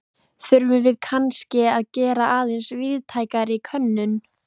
Þurfum við kannske að gera aðeins víðtækari könnun?